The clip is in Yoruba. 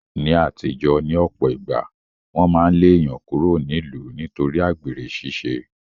Ní aàtijọ́, ní ọ̀pọ̀ ìgbà, wọn máa ń lé èèyàn kúrò nílùú nítorí àgbèrè ṣiṣẹ́